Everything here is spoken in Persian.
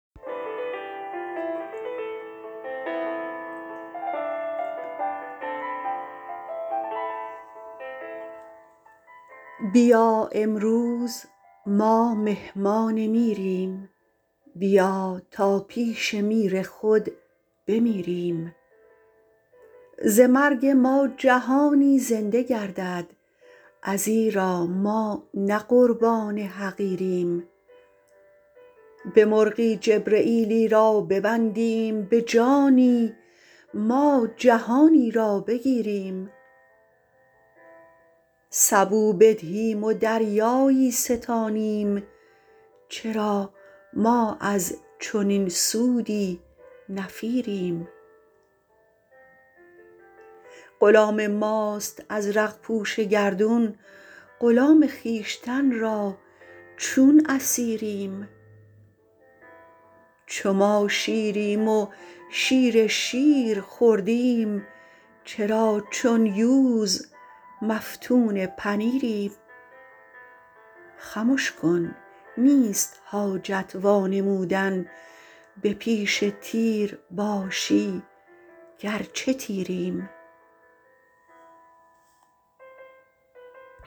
بیا امروز ما مهمان میریم بیا تا پیش میر خود بمیریم ز مرگ ما جهانی زنده گردد ازیرا ما نه قربان حقیریم به مرغی جبرییلی را ببندیم به جانی ما جهانی را بگیریم سبو بدهیم و دریایی ستانیم چرا ما از چنین سودی نفیریم غلام ماست ازرق پوش گردون غلام خویشتن را چون اسیریم چو ما شیریم و شیر شیر خوردیم چرا چون یوز مفتون پنیریم خمش کن نیست حاجت وانمودن به پیش تیر باشی گرچه تیریم